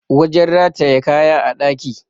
wajen rataye kaya a ɗaki